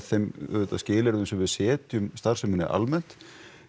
þeim skilyrðum sem við setjum starfseminni almennt